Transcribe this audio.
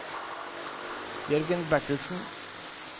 Jørgen Bertelsen